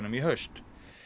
í haust